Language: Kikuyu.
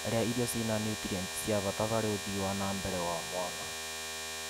Rĩa irio cĩĩna niutrienti cia bata harĩ ũthii wa na mbere wa mwana.